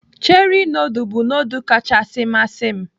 Cheri nudul bụ nudul kachasị masị m.